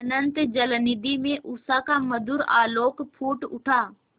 अनंत जलनिधि में उषा का मधुर आलोक फूट उठा